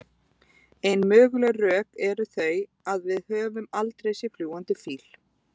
Ein möguleg rök eru þau að við höfum aldrei séð fljúgandi fíl.